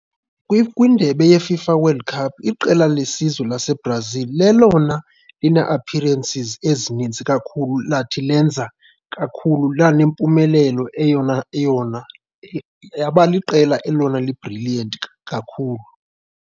Kwindebe yeFIFA World Cup iqela lesizwe laseBrazil lelona line-appearances ezinintsi kakhulu lathi lenza kakhulu lanempumlelo eyona eyona yaba liqela elona li-brilliant kakhulu.